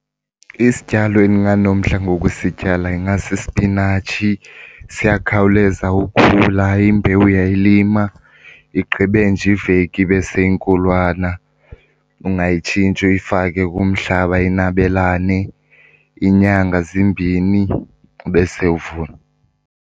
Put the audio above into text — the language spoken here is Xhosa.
Isityalo endinganomdla ngokusityala ingasisipinatshi. Siyakhawuleza ukhula, imbewu uyayilima igqibe nje iveki ibe seyinkulwana. Ungayitshintsha uyifake kumhlaba inabelane iinyanga zimbini ubese uvuna.